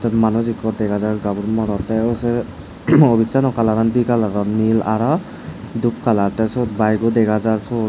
te manuj ekko dega jaar gabur morot ta u se office sano colour di tala gor nil aro dup colour te sot bike ko dega jaar sot.